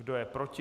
Kdo je proti?